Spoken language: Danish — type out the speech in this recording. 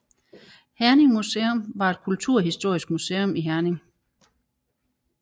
Herning Museum var et kulturhistorisk museum i Herning